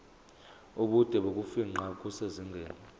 ubude bokufingqa kusezingeni